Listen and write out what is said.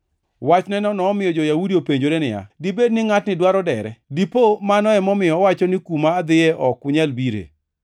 Wachneno nomiyo jo-Yahudi openjore niya, “Dibed ni ngʼatni dwaro dere? Dipo mano emomiyo owacho ni, ‘Kuma adhiye ok unyal bire?’ ”